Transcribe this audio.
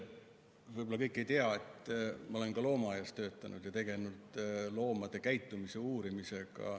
Võib-olla kõik ei tea, et ma olen ka loomaaias töötanud ja tegelenud loomade puuritingimustes käitumise uurimisega.